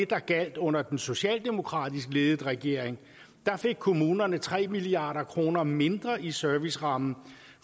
der gjaldt under den socialdemokratisk ledede regering der fik kommunerne tre milliard kroner mindre i serviceramme